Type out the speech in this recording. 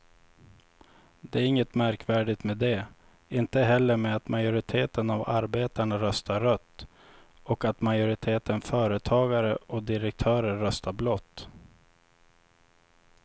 Det är inget märkvärdigt med det, inte heller med att majoriteten av arbetarna röstar rött och att majoriteten företagare och direktörer röstar blått.